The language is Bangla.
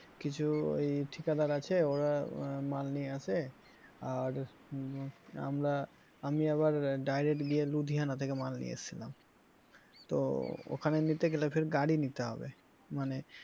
কিছু ওই ঠিকাদার আছে ওরা আহ মাল নিয়ে আসে আর আমরা আমি আবার direct গিয়ে লুধিয়ানা থেকে মাল নিয়ে এসেছিলাম তো ওখানে নিতে গেলে ফের গাড়ি নিতে হবে মানে,